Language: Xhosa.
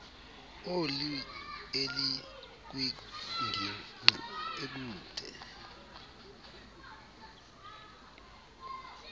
oli elikwingingqi ekude